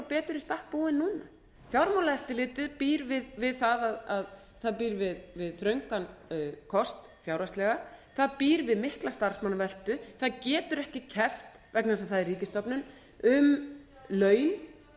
betur í stakk búið núna fjármálaeftirlitið býr við það að það býr við þröngan kost fjárhagslega það býr við mikla starfsmannaveltu það getur ekki keppt vegna þess að það er ríkisstofnun um laun